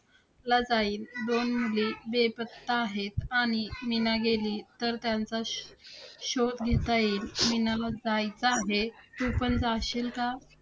ला जाईल. दोन मुली बेपत्ता आहेत आणि मीना गेली तर त्यांचा श~ शोध घेता येईल. मीनाला जायचं आहे. तू पण जाशील का?